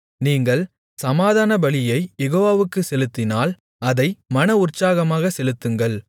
நீங்கள் சமாதானபலியைக் யெகோவாவுக்குச் செலுத்தினால் அதை மன உற்சாகமாகச் செலுத்துங்கள்